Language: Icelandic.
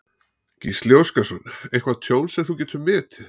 Gísli Óskarsson: Eitthvað tjón sem þú getur metið?